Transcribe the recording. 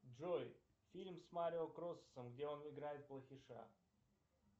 джой фильм с марио кроссом где он играет плохиша